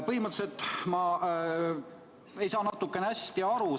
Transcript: Põhimõtteliselt ei saa ma hästi aru.